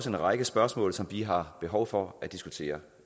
en række spørgsmål som vi har behov for at diskutere